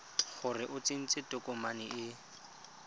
gore o tsentse tokomane e